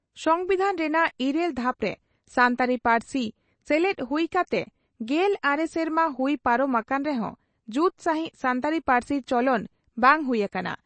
ᱥᱚᱢᱵᱤᱫᱷᱟᱱ ᱨᱮᱱᱟᱜ ᱤᱨᱟᱹᱞ ᱫᱷᱟᱯᱨᱮ ᱥᱟᱱᱛᱟᱲᱤ ᱯᱟᱹᱨᱥᱤ ᱥᱮᱞᱮᱫ ᱦᱩᱭ ᱠᱟᱛᱮ ᱜᱮᱞ ᱟᱨᱮ ᱥᱮᱨᱢᱟ ᱦᱩᱭ ᱯᱟᱨᱚᱢ ᱟᱠᱟᱱ ᱨᱮᱦᱚᱸ ᱡᱩᱛ ᱥᱟᱹᱦᱤᱡ ᱥᱟᱱᱛᱟᱲᱤ ᱯᱟᱹᱨᱥᱤ ᱪᱚᱞᱚᱱ ᱵᱟᱝ ᱦᱩᱭ ᱟᱠᱟᱱᱟ ᱾